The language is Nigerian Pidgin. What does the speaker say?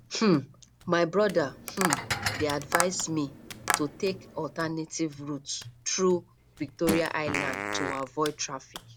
um my brother um dey advise me to take alternative route through victoria island to avoid traffic